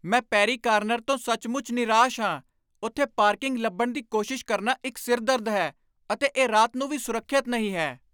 ਮੈਂ 'Perry corner' ਤੋਂ ਸੱਚਮੁੱਚ ਨਿਰਾਸ਼ ਹਾਂ। ਉੱਥੇ ਪਾਰਕਿੰਗ ਲੱਭਣ ਦੀ ਕੋਸ਼ਿਸ਼ ਕਰਨਾ ਇੱਕ ਸਿਰ ਦਰਦ ਹੈ, ਅਤੇ ਇਹ ਰਾਤ ਨੂੰ ਵੀ ਸੁਰੱਖਿਅਤ ਨਹੀਂ ਹੈ।